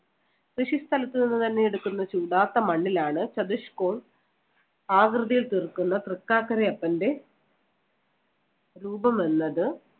കൃഷി സ്ഥലത്തുനിന്നുതന്നെ എടുക്കുന്ന ചുടാത്ത മണ്ണിലാണ് ചതുഷ് കോൺ ആകൃതിയിൽ തീർക്കുന്ന തൃക്കാക്കരയപ്പന്‍റെ രൂപം എന്നത്